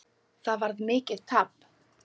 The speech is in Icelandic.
Það varð mikið tap.